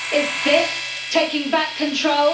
Is this taking back control?